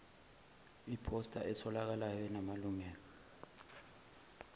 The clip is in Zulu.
iphosta etholakalayo enamalungelo